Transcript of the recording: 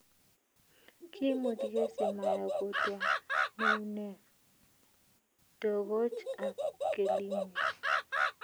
kiimuch kesi Maya kotwa neuneg, togoch ak kelieeg